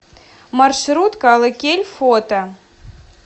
маршрутка алыкель фото